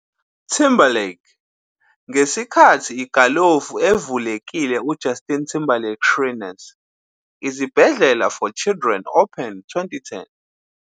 Timberlake ngesikhathi igalofu evulekile Justin Timberlake Shriners Izibhedlela for Children Open 2010.